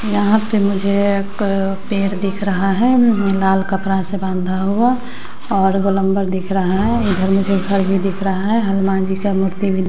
यहां पे मुझे एक पेर दिख रहा है मम लाल कपड़ा से बांधा हुआ और गोलंबर दिख रहा है इधर मुझे घर भी दिख रहा है हलमान जी का मूर्ति भी --